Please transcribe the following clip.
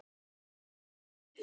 Hreinn toppur.